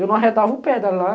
Eu não arredava o pé de lá.